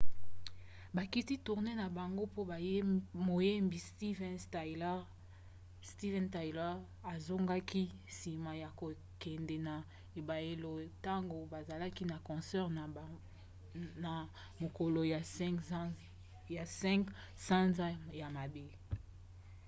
bakiti tournee na bango po moyembi steven tyler azokaki nsima ya kokwenda na ebayelo ntango bazalaki na concert na mokolo ya 5 sanza ya mwambe